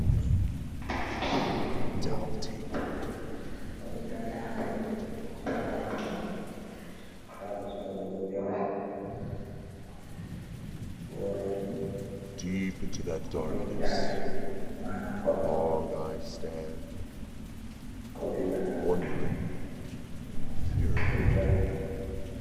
Debbo, odo dari ha der shaago maako chaago sorugo jawe, borooji be daage, maana kodol ko be wiya sarga be jawe.